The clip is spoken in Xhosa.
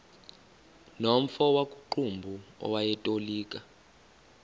nomfo wakuqumbu owayetolika